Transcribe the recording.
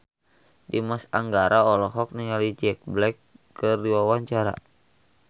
Dimas Anggara olohok ningali Jack Black keur diwawancara